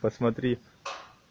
посмотри